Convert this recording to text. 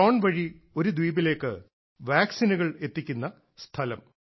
drone വഴി ഒരു ദ്വീപിലേക്ക് വാക്സിനുകൾ എത്തിക്കുന്ന സ്ഥലം